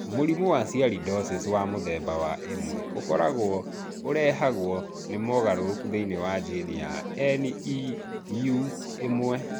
Mũrimũ wa Sialidosis wa mũthemba wa I ũkoragwo ũrehagwo nĩ mogarũrũku thĩinĩ wa jini ya NEU1.